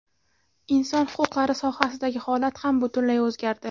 Inson huquqlari sohasidagi holat ham butunlay o‘zgardi.